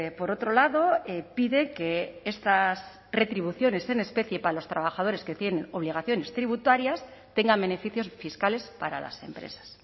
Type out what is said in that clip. por otro lado pide que estas retribuciones en especie para los trabajadores que tienen obligaciones tributarias tengan beneficios fiscales para las empresas